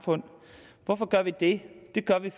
det godt